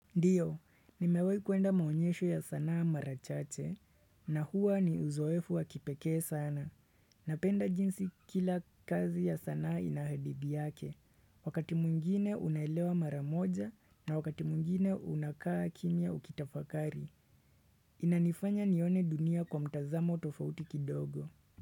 Ndiyo, nimewahu kuenda maonyesho ya sanaa mara chache, na huwa ni uzoefu wakipekee sana. Napenda jinsi kila kazi ya sanaa ina hadithi yake. Wakati mwingine unaelewa mara moja, na wakati mwingine unakaa kimya ukitafakari. Inanifanya nione dunia kwa mtazamo tofauti kidogo.